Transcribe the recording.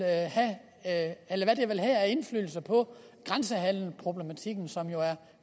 have på grænsehandelsproblematikken som jo er